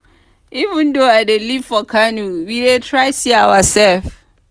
even though i dey live for kano we dey try see ourselves.